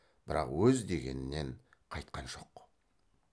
бірақ өз дегенінен қайтқан жоқ